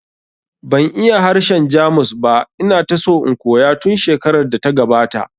Ban iya harshen Jamus ba, ina ta so in koya tun shekarar da ta gabata